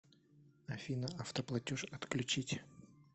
афина автоплатеж отключить